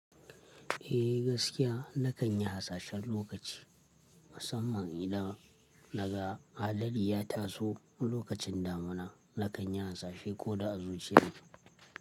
Eh gaskiya na kan yi hasashen lokaci, musamman idan naga hadari ya taso lokacin damuna, na kan yi hasashe ko da a zuciya ne.